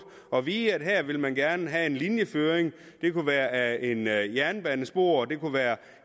at vide at her vil man gerne have en linjeføring det kunne være af et jernbanespor det kunne være